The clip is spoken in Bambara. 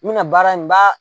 N mina in baara n b'a